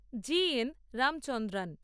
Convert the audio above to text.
জি N Ramachandran